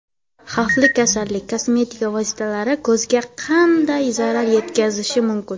Xavfli go‘zallik: kosmetika vositalari ko‘zga qanday zarar yetkazishi mumkin?.